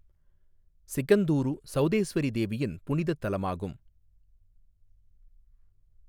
சிகந்தூரு சௌதேஸ்வரி தேவியின் புனிதத் தலமாகும்.